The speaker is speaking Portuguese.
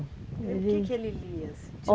O que que ele lia, assim?